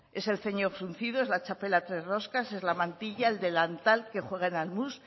es el ceño fruncido es la txapela tres roscas es la mantilla el delantal que jueguen al mus